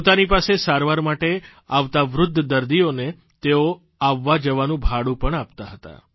પોતાની પાસે સારવાર માટે આવતા વૃદ્ધ દર્દીઓને તેઓ આવવા જવાનું ભાડું પણ આપતા હતા